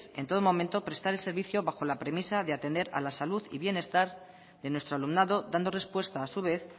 en todo momento prestar el servicio bajo la premisa de atender a la salud y bienestar de nuestro alumnado dando respuesta a su vez